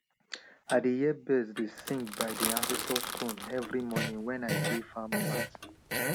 i dey hear bird dey sing by di ancestor stone every morning wen i de farm plant